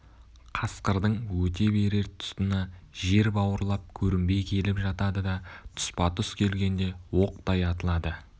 қасқырдың өте берер тұсына жер бауырлап көрінбей келіп жатады да тұспа-тұс келгенде оқтай атылады